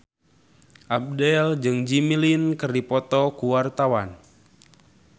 Abdel jeung Jimmy Lin keur dipoto ku wartawan